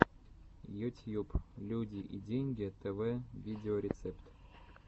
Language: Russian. ютьюб люди и деньги тэвэ видеорецепт